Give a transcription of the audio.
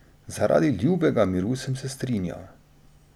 Zaradi ljubega miru sem se strinjal.